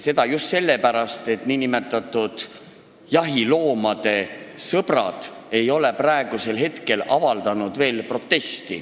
Seda just sellepärast, et nn jahiloomade sõbrad ei ole veel protesti avaldanud.